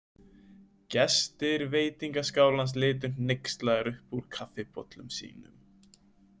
Gestir veitingaskálans litu hneykslaðir upp úr kaffibollum sínum.